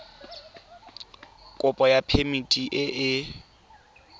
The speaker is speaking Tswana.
kopo ya phemiti e e